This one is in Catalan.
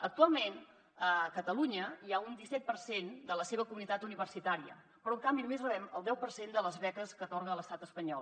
actualment a ca·talunya hi ha un disset per cent de la seva comunitat universitària però en canvi només rebem el deu per cent de les beques que atorga l’estat espanyol